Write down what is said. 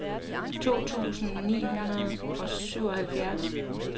to tusind ni hundrede og syvoghalvtreds